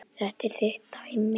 Þetta er þitt dæmi.